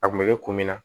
A kun bɛ kɛ kun min na